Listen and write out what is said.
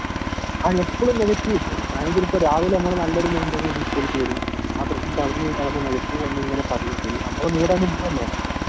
ങാ.. എപ്പഴും നെഗറ്റീവാക്കും. ഞാൻ ഇപ്പൊ രാവിലെ നല്ലൊരു മൈൻടോടുകൂടി സ്‌കൂളിൽപോകുമ്പോൾ ആ പ്രശ്നം പറഞ്ഞു നെഗറ്റീവ് വന്നുകഴിഞ്ഞാൽ നമ്മുടെ മൂടങ്ങു പോവുകയല്ലേ